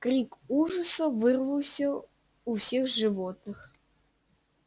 крик ужаса вырвался у всех животных